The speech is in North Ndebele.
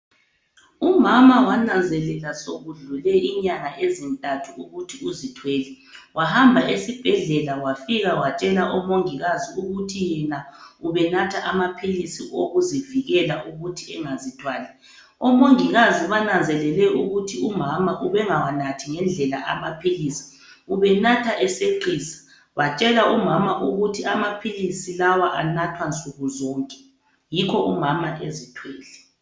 Umama wananzelela sokudlule inyanga ezintathu ukuthi uzithwele wahamba esibhedlela wafika watshela omongikazi ukuthi yena ubenatha amaphilisi okuzivikela ukuthi engazithwali. Omongikazi bananzelele ukuthi umama ubengawanathi ngendlela amaphilisi ubenatha eseqisa batshela umama ukuthi amaphilisi lawa anathwa nsukuzonke yikho umama ezithwele.